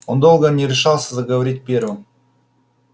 он долго не решался заговорить первым